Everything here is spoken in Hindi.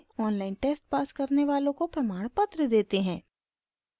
online test pass करने वालों को प्रमाणपत्र देते हैं